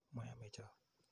Mayome cho.